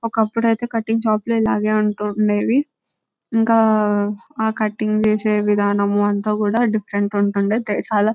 ఒకప్పుడైతే కటింగ్ షాపులు ఇలాగే ఉంటూ ఉండేది ఇంకా కటింగ్ చేసే విధానం అంతా డిఫరెంట్ గా ఉంటూ ఉండేది.